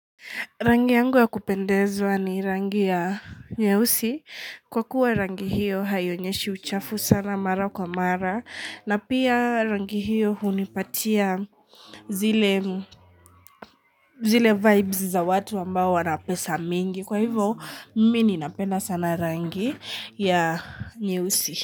Rangi yangu ya kupendezwa ni rangi ya nyeusi kwa kuwa rangi hiyo haionyeshi uchafu sana mara kwa mara na pia rangi hiyo hunipatia zile zile vibes za watu ambao wana pesa mingi kwa hivo mimi ninapenda sana rangi ya nyeusi.